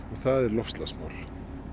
það er loftslagsmál